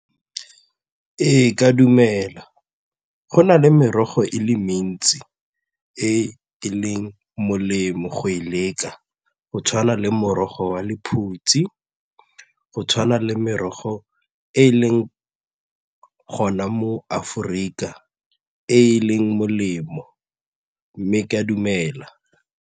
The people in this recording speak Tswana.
Ee, ke a dumela, go na le merogo e le mentsi e e leng molemo go e leka go tshwana le morogo wa lephutse, go tshwana le merogo e e leng gona mo Aforika e e leng molemo mme ke a dumela.